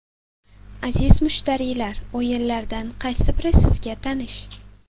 Aziz mushtariylar, o‘yinlardan qaysi biri sizga tanish.